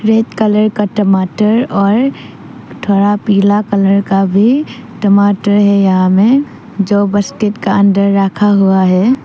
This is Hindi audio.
रेड कलर का टमाटर और थोड़ा पीला कलर का भी टमाटर है यहां में जो बस्केट अंदर रखा हुआ है।